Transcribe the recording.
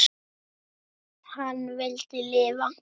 Hann vildi lifa.